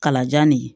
Kalajan nin